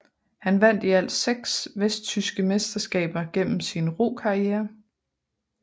Han vandt i alt seks vesttyske mesterskaber gennem sin rokarriere